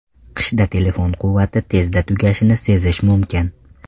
Qishda telefon quvvati tezda tugashini sezish mumkin.